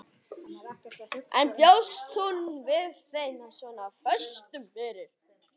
En bjóst hún við þeim svona föstum fyrir?